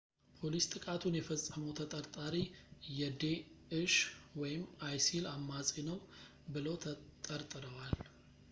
ፖሊስ ጥቃቱን የፈጸመው ተጠርጣሪ የዴእሽ isil አማጺ ነው ብለው ተጠርጥረዋል